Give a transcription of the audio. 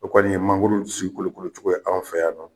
O kɔni ye mangoro si kolokolocogoya k'an fɛ yan.